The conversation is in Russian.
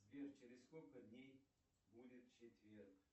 сбер через сколько дней будет четверг